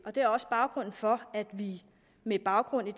er også baggrunden for at vi med baggrund i